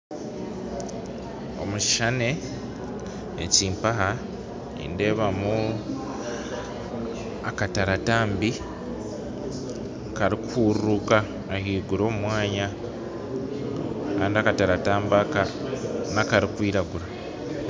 Omu kishuushani ekimpaha nindeebamu akataratambi karikuhuururuka ahaiguru omu mwanya kandi akataratambi aka nakarikwiragura